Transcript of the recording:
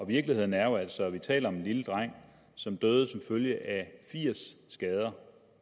virkeligheden er jo altså vi taler om en lille dreng som døde som følge af firs skader